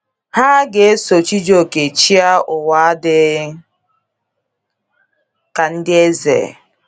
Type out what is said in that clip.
Ha ga - eso Chijioke chịa “ ụwa dị ka ndị eze. ”